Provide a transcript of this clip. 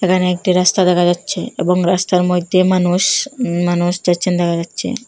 এখানে একটি রাস্তা দেখা যাচ্ছে এবং রাস্তার মইধ্যে মানুষ উম মানুষ যাচ্ছেন দেখা যাচ্ছে।